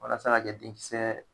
Walasa ka jɛ denkisɛ